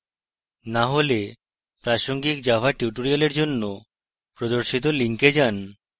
না হলে প্রাসঙ্গিক java tutorials জন্য প্রদর্শিত link যান